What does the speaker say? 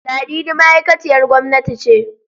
Ladidi ma'aikaciyar gwamnati ce.